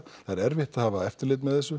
er erfitt að hafa eftirlit með þessu